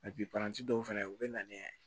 paranti dɔw fɛnɛ u be na ni